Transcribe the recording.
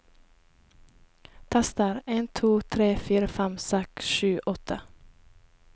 Tester en to tre fire fem seks sju åtte